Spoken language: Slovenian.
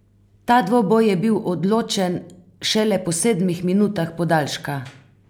Ta dvoboj je bil odločen šele po sedmih minutah podaljška!